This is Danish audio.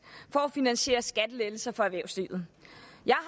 for at finansiere skattelettelser for erhvervslivet jeg